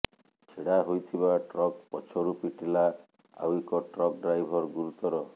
ଛିଡା ହୋଇଥିବା ଟ୍ରକ ପଛରୁ ପିଟିଲା ଆଉ ଏକ ଟ୍ରକ ଡ୍ରାଇଭର ଗୁରୁତର